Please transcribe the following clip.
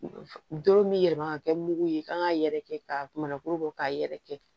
Doro min bɛ yɛlɛma ka kɛ mugu ye kan k'a yɛrɛkɛ k'a mana kuru bɔ k'a yɛrɛ kɛ